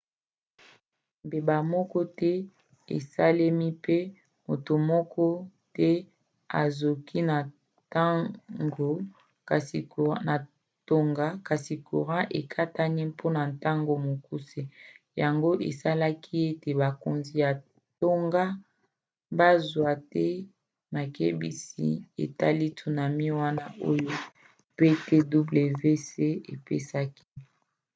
mbeba moko te esalemi pe moto moko te azoki na tonga kasi courant ekatanaki mpona ntango mokuse yango esalaki ete bakonzi ya tonga bazwi te makebisi etali tsunami wana oyo ptwc epesaki